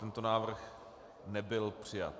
Tento návrh nebyl přijat.